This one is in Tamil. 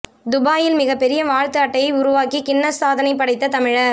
துபாயில் மிகப்பெரிய வாழ்த்து அட்டையை உருவாக் கின்னஸ் சாதனை படைத்த தமிழர்